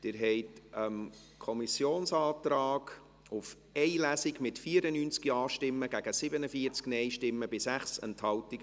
Sie haben dem Kommissionsantrag auf eine Lesung zugestimmt, mit 94 Ja- gegen 47 Nein-Stimmen bei 6 Enthaltungen.